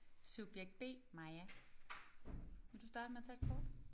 Subjekt B Maja. Vil du starte med at tage et kort?